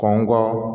Kɔnkɔ